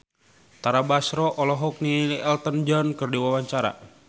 Tara Basro olohok ningali Elton John keur diwawancara